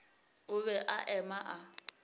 o be a eme a